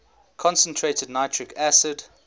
concentrated nitric acid